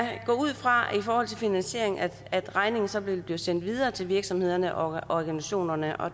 ud fra at regningen så vil blive sendt videre til virksomhederne og organisationerne og